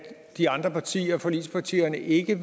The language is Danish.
de andre partier forligspartierne ikke